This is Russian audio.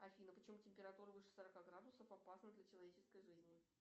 афина почему температура выше сорока градусов опасна для человеческой жизни